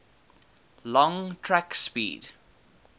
long track speed